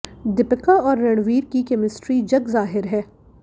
दीपिका और रणवीर की केमिस्ट्री जग जाहिर है